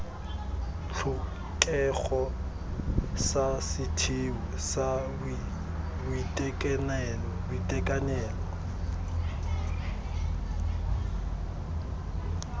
tlhokego sa setheo sa boitekanelo